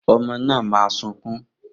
Omo na ma sunkun.